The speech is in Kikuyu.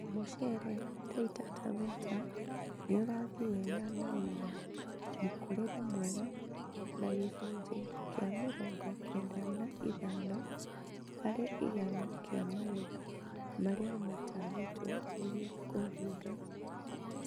Mucere Taita Taveta nĩũrathiĩ wega na wina mũkũrĩre mwega na gĩcunjĩ kĩa mĩrongo kenda na ithano harĩ igana kĩa magetha marĩa matanyĩtwo nĩgikũhinga